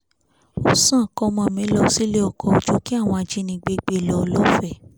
ó sàn kọ́mọ mi lọ sílé ọkọ̀ ju kí àwọn ajínigbé gbé e lọ lọ́fẹ̀ẹ́